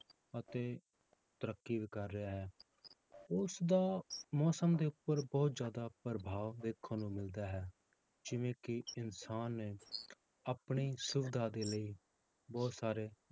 ਅਤੇ ਤਰੱਕੀ ਵੀ ਕਰ ਰਿਹਾ ਹੈ, ਉਸਦਾ ਮੌਸਮ ਦੇ ਉੱਪਰ ਬਹੁਤ ਜ਼ਿਆਦਾ ਪ੍ਰਭਾਵ ਵੇਖਣ ਨੂੰ ਮਿਲਦਾ ਹੈ, ਜਿਵੇਂ ਕਿ ਇਨਸਾਨ ਨੇ ਆਪਣੀ ਸੁਵਿਧਾ ਦੇ ਲਈ ਬਹੁਤ ਸਾਰੇ